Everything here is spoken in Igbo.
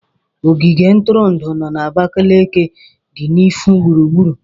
Ogige ntụrụndụ no na Abakaliki dị n'ihu gburugburu.